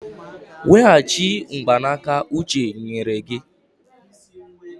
Weghachite mgbanaka uche nyere gị!